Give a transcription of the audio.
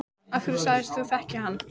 Af hverju sagðist þú þekkja hann?